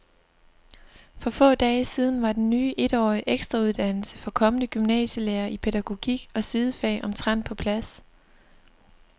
For få dage siden var den ny etårige ekstrauddannelse for kommende gymnasielærere i pædagogik og sidefag omtrent på plads.